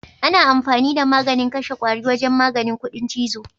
Ana amfani da maganin kashe kwari wajen maganin kuɗin chizo.